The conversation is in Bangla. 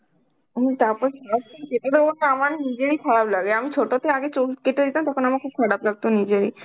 আমি তারপর আমার নিজেরই খারাপ লাগে আমি ছোটতে আগে চুল কেটে দিতাম তখন আমার খুব খারাপ লাগতো নিজেরই